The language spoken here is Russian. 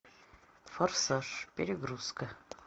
форсаж перегрузка